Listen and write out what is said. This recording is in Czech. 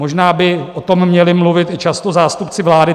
Možná by o tom měli mluvit i často zástupci vlády.